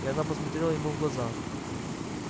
и она посмотрела ему в глаза